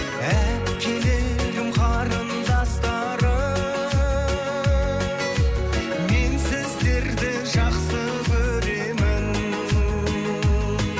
әпкелерім қарындастарым мен сіздерді жақсы көремін